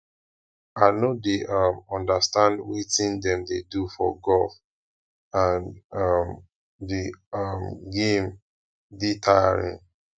i no dey um understand wetin dem dey do for golf and um the um game dey tiring